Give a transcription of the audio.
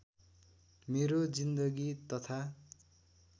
मेरो जिन्दगी तथा